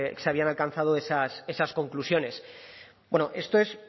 se habían alcanzado esas conclusiones bueno esto es